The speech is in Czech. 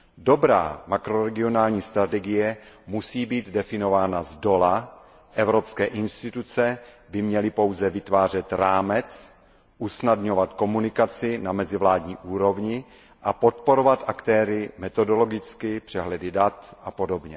Dobrá makroregionální strategie musí být definována zdola, evropské instituce by měly pouze vytvářet rámec, usnadňovat komunikaci na mezivládní úrovni a podporovat aktéry metodologicky, přehledy dat apod.